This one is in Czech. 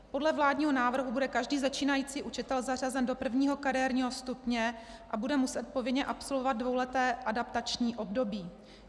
Podle vládního návrhu bude každý začínající učitel zařazen do prvního kariérního stupně a bude muset povinně absolvovat dvouleté adaptační období.